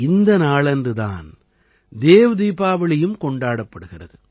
இந்த நாளன்று தான் தேவ் தீபாவளியும் கொண்டாடப்படுகிறது